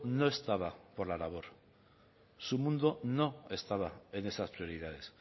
no estaba por la labor su mundo no estaba en esas prioridades